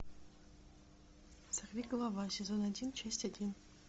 сорвиголова сезон один часть один